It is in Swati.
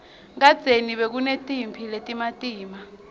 kadzeni bekunetimphi letimatima